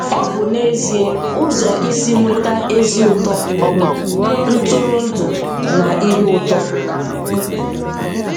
Ọ bụ n'ezie ụzọ isi nweta ezi ụtọ, ntụrụndụ, na ihe ụtọ.